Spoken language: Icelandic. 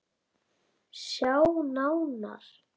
Sjá nánar